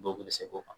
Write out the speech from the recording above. Dɔw bɛ se k'o kan